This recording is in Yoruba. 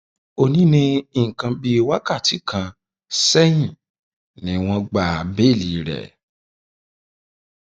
ó ní ní nǹkan um bíi wákàtí kan sẹyìn ni wọn um gba béèlì rẹ